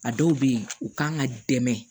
A dɔw bɛ yen u kan ka dɛmɛ